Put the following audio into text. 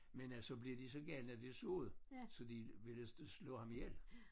Men øh så bliver de så gale da de så det så de ville slå ham ihjel